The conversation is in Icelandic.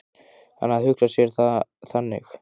Hann hafði hugsað sér það þannig.